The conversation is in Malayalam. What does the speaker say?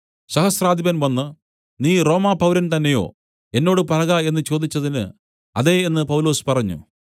സഹസ്രാധിപൻ വന്ന് നീ റോമാപൗരൻ തന്നെയോ എന്നോട് പറക എന്നു ചോദിച്ചതിന് അതെ എന്ന് പൗലോസ് പറഞ്ഞു